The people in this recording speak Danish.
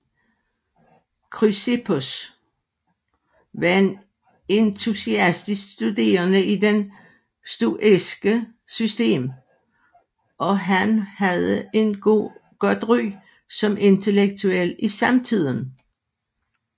Chrysippos var en entusiastisk studerende i det stoiske system og han havde et godt ry som intellektuel i samtiden